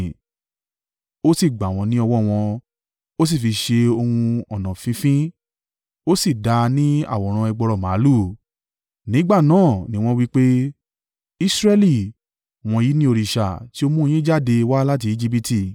Ó sì gbà wọ́n ní ọwọ́ wọn, ó sì fi ṣe ohun ọnà fínfín, ó sì dà á ní àwòrán ẹgbọrọ màlúù. Nígbà náà ni wọn wí pé, “Israẹli, wọ̀nyí ni òrìṣà, ti ó mú un yín jáde wá láti Ejibiti.”